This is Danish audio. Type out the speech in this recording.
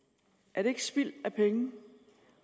er det ikke spild af penge